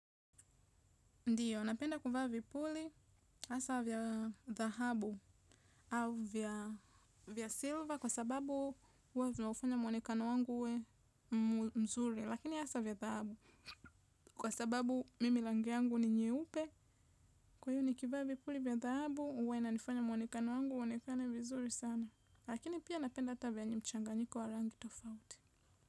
Ndiyo, napenda kuvaa vipuli, asa vya dhahabu au vya silva kwa sababu huwa viunafanya muonekano wangu uwe mzuri, lakini asa vya dhahabu, kwa sababu mimi rangi yangu ni nyeupe, kwa hiyo nikivaa vipuli vya dhahabu uwa inanifanya muonekano wangu uwe uonekane vizuri sana, lakini pia napenda hata vyenye mchanganyiko wa rangi tofauti.